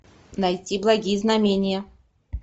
найти благие знамения